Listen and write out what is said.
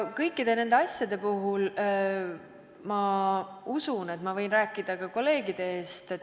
Kõikide nende asjade puhul ma usun, et võin rääkida ka kolleegide eest.